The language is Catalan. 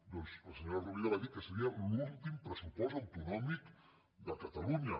doncs la senyora rovira va dir que seria l’últim pressupost autonòmic de catalunya